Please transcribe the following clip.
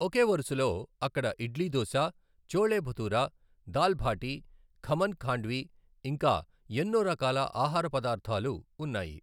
ఒకే వరుసలో అక్కడ ఇడ్లీ దోశ, ఛోలే భతూరా, దాల్ బాటీ, ఖమన్ ఖాండ్వీ, ఇంకా ఎన్నో రకాల ఆహార పదార్థాలు ఉన్నాయి.